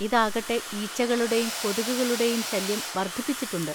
ഇതാകട്ടെ ഈച്ചകളുടെയും കൊതുകുകളുടെയും ശല്യം വർധിപ്പിച്ചിട്ടുണ്ട്.